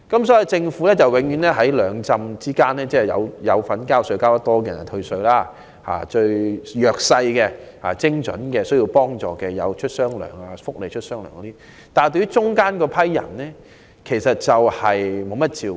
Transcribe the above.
所以，政府只向繳稅較多的納稅人退稅，向最弱勢及最需要幫助的人發放"雙糧"，但對於介乎上述兩者之間的市民卻沒有給予太多照顧。